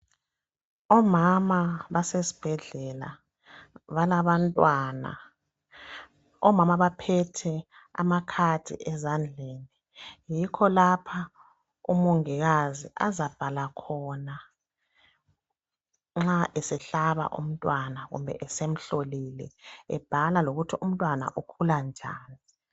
omama basesibhedlela balabantwana omama baphethe amakhadi ezandleni yikho lapho umongikazi azabhala khona nxa esehlaba umntwana kumbe esemhlolile ebhala lokuthi umntwana ukhula njani